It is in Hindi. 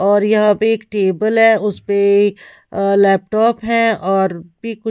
और यहां पे एक टेबल है उस पे लैपटॉप है और पिक--